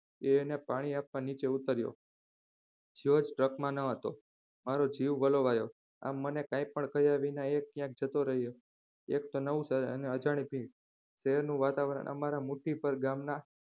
એ એને પાણી આપવા નીચે ઉતર્યો જ્યોર્જ truck માં ન હતો મારો જીવ વલોવાયો આમ મને કંઈપણ કહ્યા વિના એ ત્યાંથી જતો રહ્યો એક તો નવું શહેર અને અજાણી ભીડ શહેરનું વાતાવરણ અમારા મુઠીભર ગામના